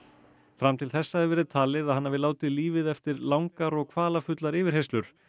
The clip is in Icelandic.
fram til þessa hefur verið talið að hann hafi látið lífið eftir langar og kvalafullar yfirheyrslur